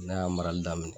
N'a y'a marali daminɛ